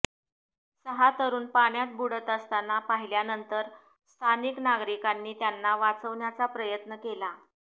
सहा तरुण पाण्यात बुडत असताना पाहिल्यानंतर स्थानिक नागरिकांनी त्यांना वाचवण्याचा प्रयत्न केला